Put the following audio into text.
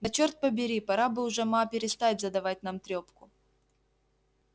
да чёрт побери пора бы уж ма перестать задавать нам трёпку